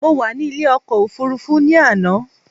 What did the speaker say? Mo wà ní ilé ọkọ̀ òfurufú ní àná